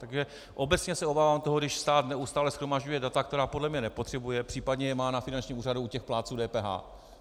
Takže obecně se obávám toho, když stát neustále shromažďuje data, která podle mě nepotřebuje, případně je má na finančním úřadu u těch plátců DPH.